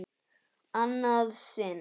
Annað sinn?